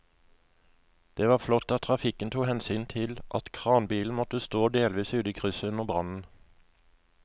Det var flott at trafikken tok hensyn til at kranbilen måtte stå delvis ute i krysset under brannen.